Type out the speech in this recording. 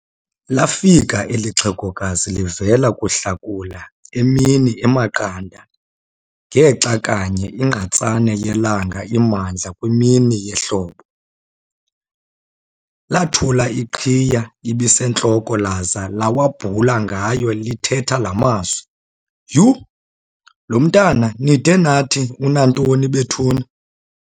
Lafika eli xhegokazi livela kuhlakula emini emaqanda ngexa kanye igqatsane yelanga imandla kwimini yehlobo. Lathula iqhiya ebisentloko laza lawabhula ngayo lithetha laa mazwi, "Tyhu! lo mntwana nide nathi unantoni bethuni?